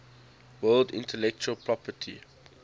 world intellectual property